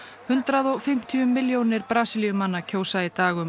hundrað og fimmtíu milljónir Brasilíumanna kjósa í dag um